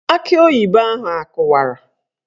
Akị oyibo ahụ akụwara?